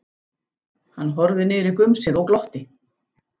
Hann horfði niður í gumsið og glotti.